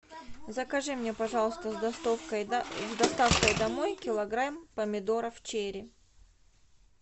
закажи мне пожалуйста с доставкой домой килограмм помидоров черри